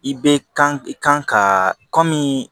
I bɛ kan i kan ka kɔmi